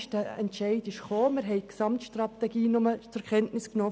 Wir haben vor einem Jahr nur die Gesamtstrategie zur Kenntnis genommen.